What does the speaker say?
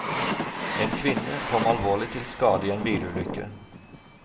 En kvinne kom alvorlig til skade i en bilulykke.